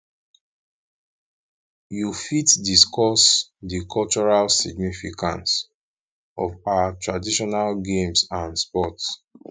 you fit discuss di cultural significance of our traditional games and sports